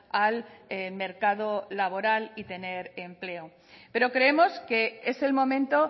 al mercado laboral y tener empleo pero creemos que es el momento